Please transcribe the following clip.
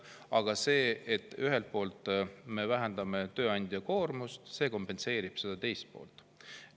Aga see, et ühelt poolt me vähendame tööandja koormust, kompenseerib seda teist poolt.